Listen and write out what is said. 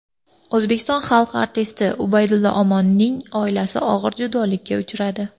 O‘zbekiston xalq artisti Ubaydulla Omonning oilasi og‘ir judolikka uchradi.